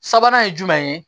Sabanan ye jumɛn ye